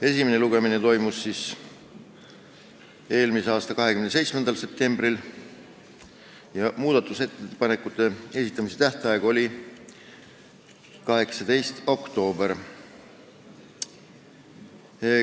Esimene lugemine toimus eelmise aasta 27. septembril ja muudatusettepanekute esitamise tähtaeg oli 18. oktoobril.